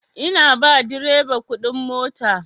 Ina ba direba kuɗin mota.